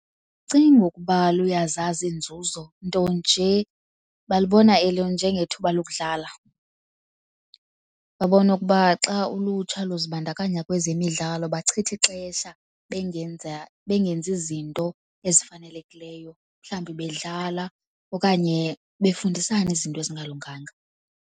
Andicinga ukuba luyazazi iinzuzo, nto nje balubona elo njengethuba lokudlala. Babona ukuba xa ulutsha luzibandakanya kwezemidlalo bachitha ixesha bengenza bengenzi izinto ezifanelekileyo, mhlawumbi bedlala okanye befundisana izinto ezingalunganga.